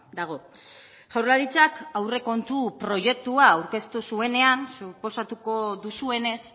dago jaurlaritzak aurrekontu proiektua aurkeztu zuenean suposatuko duzuenez